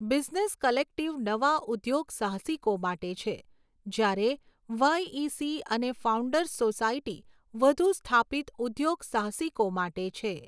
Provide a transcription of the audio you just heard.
Business collective નવા ઉદ્યોગસાહસિકો માટે છે, જ્યારે વાયઇસી અને ફાઉન્ડર્સ સોસાયટી વધુ સ્થાપિત ઉદ્યોગસાહસિકો માટે છે.